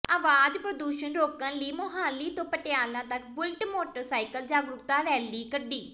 ਆਵਾਜ਼ ਪ੍ਰਦੂਸ਼ਣ ਰੋਕਣ ਲਈ ਮੁਹਾਲੀ ਤੋਂ ਪਟਿਆਲਾ ਤੱਕ ਬੁਲਟ ਮੋਟਰ ਸਾਈਕਲ ਜਾਗਰੂਕਤਾ ਰੈਲੀ ਕੱਢੀ